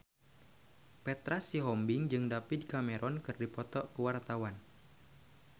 Petra Sihombing jeung David Cameron keur dipoto ku wartawan